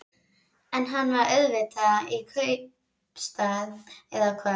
En hann er auðvitað í kaupstað. eða hvað?